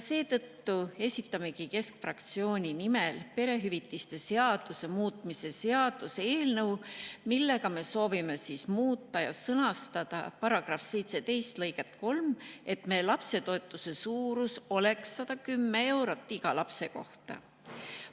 Seetõttu esitamegi keskfraktsiooni nimel perehüvitiste seaduse muutmise seaduse eelnõu, millega me soovime muuta § 17 lõiget 3 ja sõnastada see nii, et lapsetoetuse suurus oleks 110 eurot iga lapse kohta.